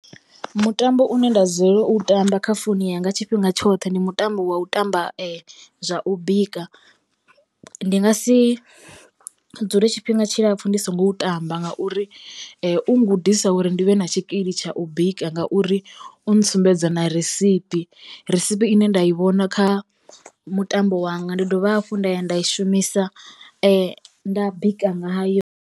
Mutambo une nda dzulela u tamba kha founu yanga tshifhinga tshoṱhe ndi mutambo wa u tamba zwa u bika. Ndi nga si dzule tshifhinga tshilapfhu ndi songo u tamba ngauri u ngudisa uri ndi vhe na tshikili tsha u bika ngauri u ntsumbedza na risipi, risipi ine nda i vhona kha mutambo wanga ndi dovha hafhu nda ya nda i shumisa nda bika ngayo.